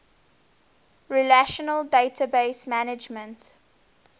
relational database management